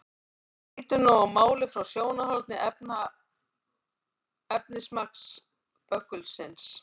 En lítum nú á málið frá sjónarhóli efnismagns böggulsins.